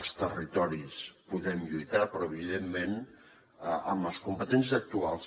els territoris podem lluitar però evidentment amb les competències actuals